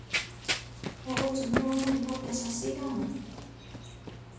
Agũtũmĩrwo mũrigo mbeca cigana?